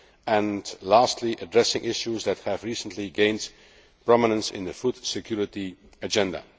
and lastly, at addressing issues that have recently gained prominence in the food security agenda.